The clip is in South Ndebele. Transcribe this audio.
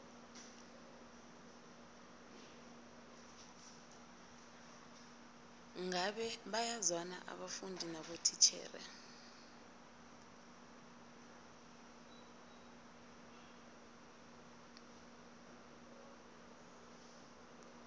ngabe bayazwana abafundi nabotitjhere